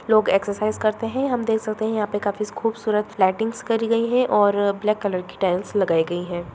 लोग एक्सरसाइज करते हैं हम देख सकते हैं यहां पे काफी खूबसूरत लाइटिंग्स करी गई हैं और ब्लैक कलर की टाइल्स लगाई गई हैं।